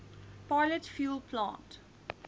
pilot fuel plant